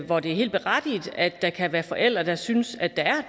hvor det er helt berettiget at der kan være forældre der synes at der er